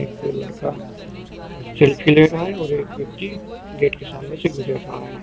Selfie ले रहा हैं और एक व्यक्ति गेट के सामने से गुजर रहा हैं।